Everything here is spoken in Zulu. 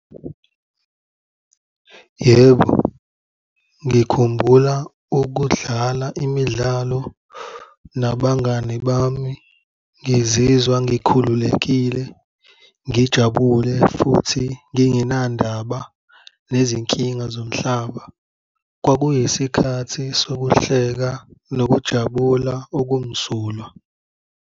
Yebo, ngikhumbula ukudlala imidlalo nabangani bami, ngizizwa ngikhululekile, ngijabule futhi ngingenandaba nezinkinga zomhlaba. Kwakuyisikhathi sokuhleka nokujabula okumsulwa.